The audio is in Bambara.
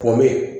Pɔnme